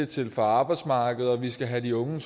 til for arbejdsmarkedet og at vi skal have de unge